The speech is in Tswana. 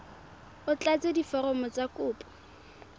o tlatse diforomo tsa kopo